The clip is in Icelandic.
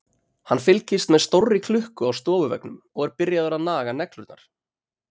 Hann fylgist með stórri klukku á stofuveggnum og er byrjaður að naga neglurnar.